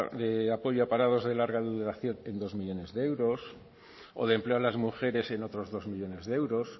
de apoyo a parados de larga duración en dos millónes de euros o de empleo a las mujeres en otros dos millónes de euros